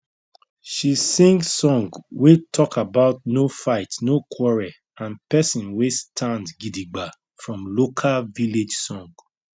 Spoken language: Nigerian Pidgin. she sing song wey talk about no fight no quarrel and pesin wey stand gidigba from local village song